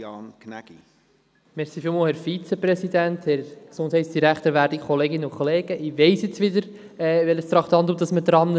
Ich weiss jetzt wieder, bei welchem Traktandum wir sind;